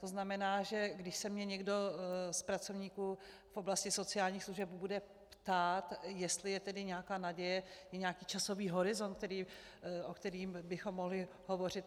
To znamená, že když se mě někdo z pracovníků v oblasti sociálních služeb bude ptát, jestli je tedy nějaká naděje, je nějaký časový horizont, o kterém bychom mohli hovořit?